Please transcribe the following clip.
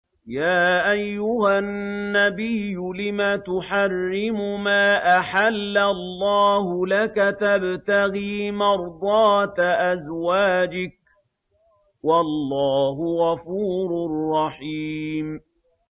يَا أَيُّهَا النَّبِيُّ لِمَ تُحَرِّمُ مَا أَحَلَّ اللَّهُ لَكَ ۖ تَبْتَغِي مَرْضَاتَ أَزْوَاجِكَ ۚ وَاللَّهُ غَفُورٌ رَّحِيمٌ